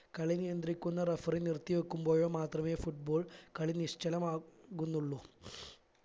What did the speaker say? കളി നിയന്ദ്രിക്കുന്ന referee നിർത്തിവെക്കുമ്പോഴോ മാത്രമേ football കളി നിശ്ചലമാകു ന്നുള്ളൂ